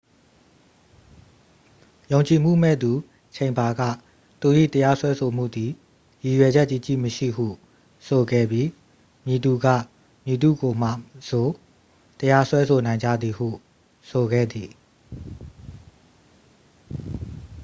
"ယုံကြည်မှုမဲ့သူ ချိန်ဘာ က သူ၏ တရားစွဲဆိုမှုသည် "ရည်ရွယ်ချက်ကြီးကြီးမရှိ""ဟု ဆိုခဲ့ပြီး "မည်သူက မည်သူ့ကိုမဆို တရားစွဲဆိုနိုင်ကြသည်""ဟု ဆိုခဲ့သည်။